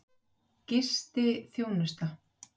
Enginn dagur er til enda tryggður.